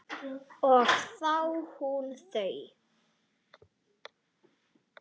Og þá hún þú.